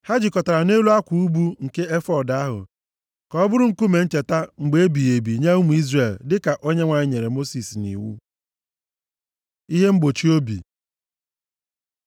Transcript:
Ha jikọtara ha nʼelu akwa ubu nke efọọd ahụ, ka ọ bụrụ nkume ncheta mgbe ebighị ebi nye ụmụ Izrel, dịka Onyenwe anyị nyere Mosis nʼiwu. Ihe mgbochi obi